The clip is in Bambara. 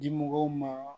Dimɔgɔw ma